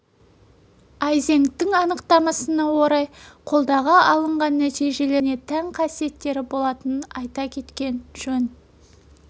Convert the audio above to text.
айзенктің анықтамасына орай қолдағы алынған нәтижелерге сүйене отырып әр типтің өзіне тән қасиеттері болатынын айта кеткен жөн